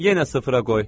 Yenə sıfıra qoy.